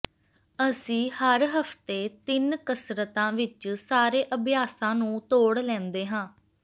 ਅਸੀਂ ਹਰ ਹਫਤੇ ਤਿੰਨ ਕਸਰਤਾਂ ਵਿੱਚ ਸਾਰੇ ਅਭਿਆਸਾਂ ਨੂੰ ਤੋੜ ਲੈਂਦੇ ਹਾਂ